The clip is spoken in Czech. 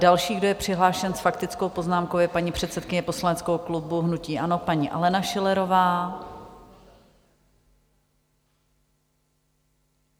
Další, kdo je přihlášen s faktickou poznámkou, je paní předsedkyně poslaneckého klubu hnutí ANO, paní Alena Schillerová.